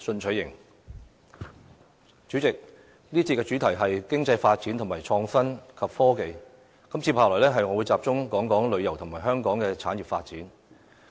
主席，這節主題是：經濟發展和創新及科技，接下來，我會聚焦於香港的旅遊及產業發展。